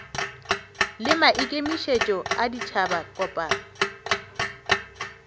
le maikemišetšo a ditšhaba kopano